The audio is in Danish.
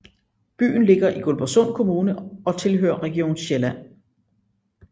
Byen ligger i Guldborgsund Kommune og tilhører Region Sjælland